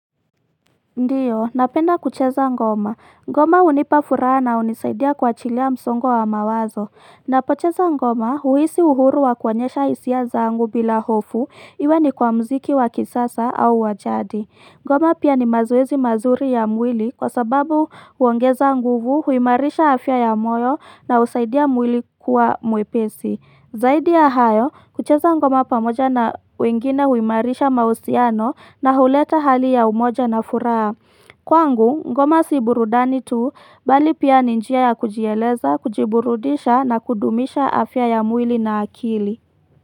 Ndio, napenda kucheza ngoma. Ngoma hunipa furaha na hunisaidia kuachilia msongo wa mawazo. Napocheza ngoma huhisi uhuru wa kuonyesha hisia zangu bila hofu, iwe ni kwa mziki wa kisasa au wajadi. Ngoma pia ni mazoezi mazuri ya mwili kwa sababu huongeza nguvu huimarisha afya ya moyo na husaidia mwili kuwa mwepesi. Zaidi ya hayo, kucheza ngoma pamoja na wengine huimarisha mahusiano na huleta hali ya umoja na furaha. Kwangu, ngoma si burudani tu, bali pia ni njia ya kujieleza, kujiburudisha na kudumisha afya ya mwili na akili.